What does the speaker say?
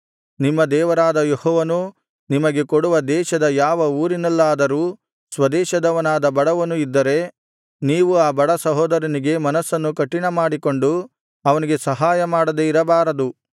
ನಿಮ್ಮ ದೇವರಾದ ಯೆಹೋವನು ನಿಮಗೆ ಕೊಡುವ ದೇಶದ ಯಾವ ಊರಿನಲ್ಲಾದರೂ ಸ್ವದೇಶದವನಾದ ಬಡವನು ಇದ್ದರೆ ನೀವು ಆ ಬಡ ಸಹೋದರನಿಗೆ ಮನಸ್ಸನ್ನು ಕಠಿಣಮಾಡಿಕೊಂಡು ಅವನಿಗೆ ಸಹಾಯಮಾಡದೆ ಇರಬಾರದು